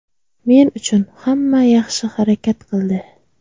Men uchun hamma yaxshi harakat qildi.